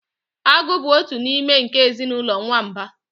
Agụ bụ otu n'ime nke ezinụlọ nwamba